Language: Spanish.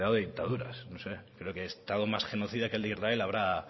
dictaduras no sé creo que estado más genocida que el de israel habrá